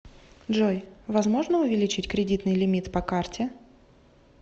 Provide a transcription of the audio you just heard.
джой возможно увеличить кредитный лимит по карте